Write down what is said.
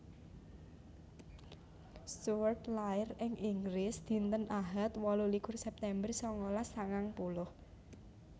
Stuart lair ing Inggris dinten Ahad wolu likur September sangalas sangang puluh